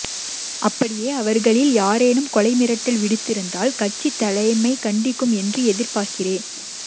அப்படியே அவர்களில் யாரேனும் கொலை மிரட்டல் விடுத்திருந்தால் கட்சி தலைமை கண்டிக்கும் என்று எதிர்பார்கின்றேன்